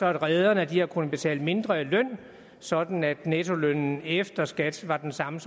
at rederne har kunnet betale mindre i løn sådan at nettolønnen efter skat var den samme